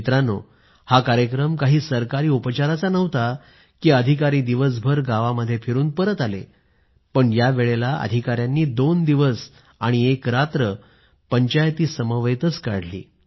मित्रांनो हा कार्यक्रम काही केवळ सरकारी औपचारिकता नव्हता की अधिकारी दिवसभर गावामध्ये फिरून परत आले पण या वेळेला अधिकाऱ्यांनी दोन दिवस आणि पंचायतीत एक मुक्कामही केली